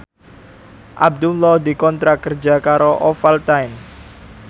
Abdullah dikontrak kerja karo Ovaltine